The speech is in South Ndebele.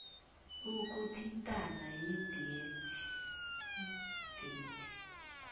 ukuthintana yidea t